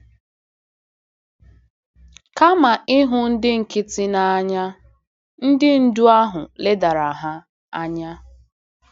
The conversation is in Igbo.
Kama ịhụ ndị nkịtị n’anya, ndị ndú ahụ ledara ha anya.